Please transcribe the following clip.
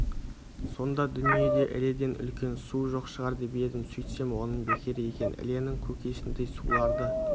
сонда дүниеде іледен үлкен су жоқ шығар деп едім сөйтсем оным бекер екен іленің көкесіндей суларды